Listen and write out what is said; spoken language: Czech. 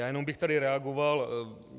Já jenom bych tady reagoval.